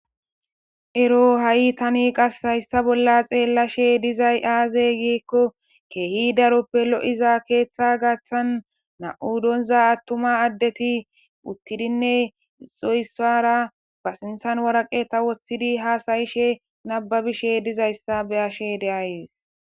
Ero ha'i Tani qassi hayssa bolla xellashshe dizay aze gikko kehi daroppe lo'iza keeththa gaththan nam'u donza attumma adetti uttidinne doyssara warqatta ba sinththan woththidi has'ishshe nababishshe dizayssa be'ashshe de'ays